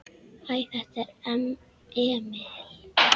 Hæ, þetta er Emil.